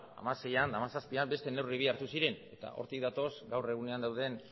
hamaseian eta hamazazpian beste neurri bi hartu ziren eta hortik datoz gaur egunean dauden